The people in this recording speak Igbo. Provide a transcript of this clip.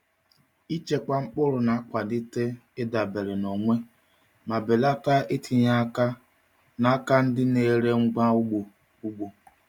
Ịchekwa mkpụrụ na-akwalite ịdabere na onwe ma belata itinye aka n’aka ndị na-ere ngwa ugbo. ugbo.